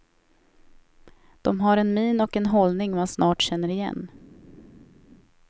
De har en min och en hållning man snart känner igen.